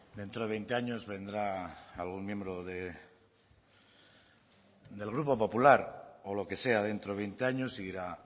dentro de veinte años vendrá algún miembro del grupo popular o lo que sea dentro de veinte años y dirá